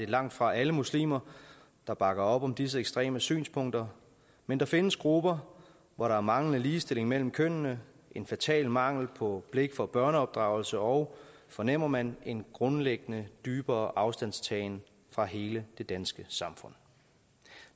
langtfra alle muslimer der bakker op om disse ekstreme synspunkter men der findes grupper hvor der er manglende ligestilling mellem kønnene en fatal mangel på blik for børneopdragelse og fornemmer man en grundlæggende dybere afstandtagen fra hele det danske samfund